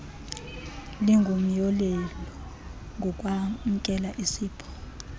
lingumyolelo ngokwamkela isipho